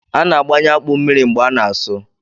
A na-abanye akpụ mmiri mgbe a na-asụ